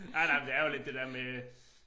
Nej nej men det er jo lidt det der med